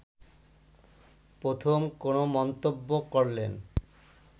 প্রথম কোন মন্তব্য করলেন